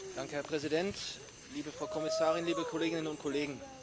Herr Präsident, liebe Frau Kommissarin, liebe Kolleginnen und Kollegen!